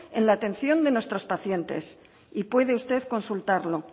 en la atención de nuestros pacientes y puede usted consultarlo